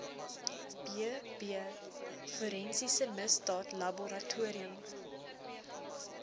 bb forensiese misdaadlaboratorium